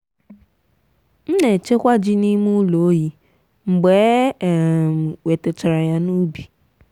m na-echekwa ji n’ime ụlọ oyi mgbe e um wetachara ya n'ubi.